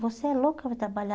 Você é louca para trabalhar?